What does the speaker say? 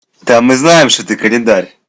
да мы знаем что ты календарь